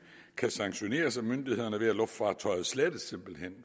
kan sanktioneres af myndighederne ved at luftfartøjet slettes